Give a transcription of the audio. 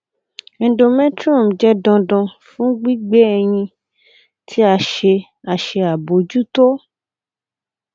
endometrium jẹ dandan fun gbigbe ẹyin ti a ṣe a ṣe abojuto